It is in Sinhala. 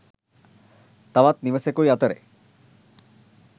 තවත් නිවාසෙකුයි අතර